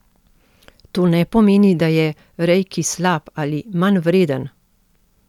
To ne pomeni, da je reiki slab ali manjvreden.